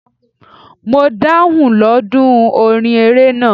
Mo daunlóòdù orin eré náà..